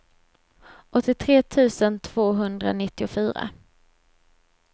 åttiotre tusen tvåhundranittiofyra